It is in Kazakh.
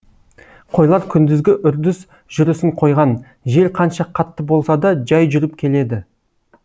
қойлар күндізгі үрдіс жүрісін қойған жел қанша қатты болса да жай жүріп келеді